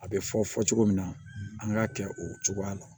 A bɛ fɔ fɔ cogo min na an k'a kɛ o cogoya la